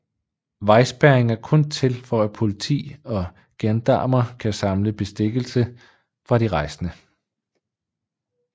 Vejspærring er kun til for at politi og gendarmer kan samle bestikkelse fra de rejsende